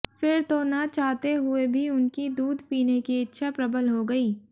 फिर तो न चाहते हुए भी उनकी दूध पीने की इच्छा प्रबल हो गई